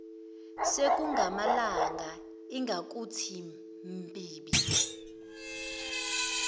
sekungamalanga ingakuthi mbibi